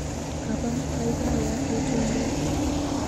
Kaba baibaya betunyu.